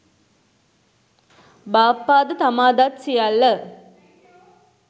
බාප්පා ද තමා දත් සියල්ල